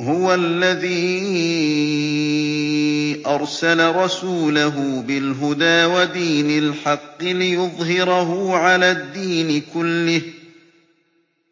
هُوَ الَّذِي أَرْسَلَ رَسُولَهُ بِالْهُدَىٰ وَدِينِ الْحَقِّ لِيُظْهِرَهُ عَلَى الدِّينِ كُلِّهِ ۚ